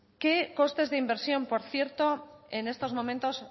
qué costes de inversión por cierto en estos momentos